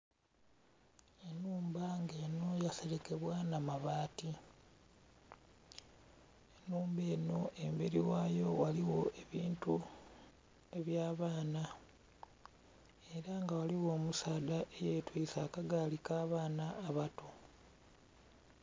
Enhumba nga yaseregebwa n'abaati, enhumba eno emberi ghayo ghaligho ebintu eby'abaana era nga ghaligho omusaadha eyetwise akagaali akabaana abato.